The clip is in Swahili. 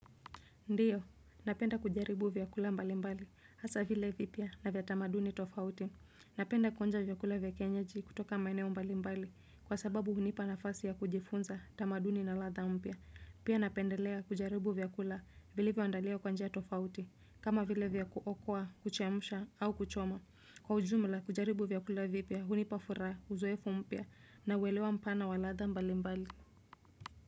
Ndiyo. Napenda kujaribu vyakula mbali mbali. Hasa vile vipya na vya tamaduni tofauti. Napenda kuonja vyakula vya kienyeji kutoka maeneo mbali mbali kwa sababu hunipa nafasi ya kujifunza tamaduni na latha mpya. Pia napendelea kujaribu vyakula vilivyoandaliwa kwa njia tofauti. Kama vile vya kuokwa, kuchemsha au kuchoma. Kwa ujumla kujaribu vyakula vipya hunipa furaha, uzoefu mpya na uelewa mpana wa latha mbali mbali.